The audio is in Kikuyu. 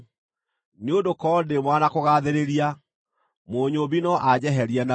nĩ ũndũ korwo ndĩ mwara na kũgaathĩrĩria, Mũnyũũmbi no anjeherie narua.